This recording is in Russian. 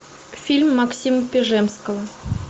фильм максима пежемского